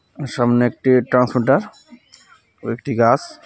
আঃ সামনে একটি ট্রান্সমিটার ও একটি গাস .